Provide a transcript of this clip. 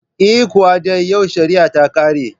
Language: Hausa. Eh, Kuwa dai yau shariya ta ƙare